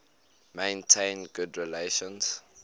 maintained good relations